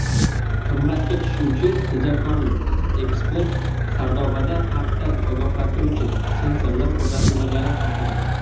"Qimmatga tushuvchi tejamkorlik" – ekspert Sardobada xavfdan ogohlantiruvchi sensorlar o‘rnatilmagani haqida.